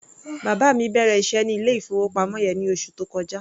Bàbá mi bẹ̀rẹ̀ iṣẹ́ ní ilé-ìfowópamọ́ yẹn ní oṣù tó kọjá.